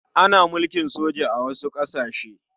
Ana mulkin soja a wasu ƙasashe.